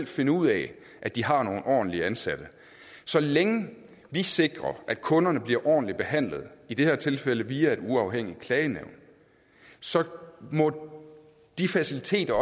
finde ud af at de har nogle ordentlige ansatte så længe vi sikrer at kunderne bliver ordentligt behandlet i det her tilfælde via et uafhængigt klagenævn så må de faciliteter